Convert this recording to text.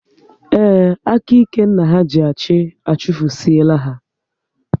Ee, aka ike nna ha ji achị, achufusie la ha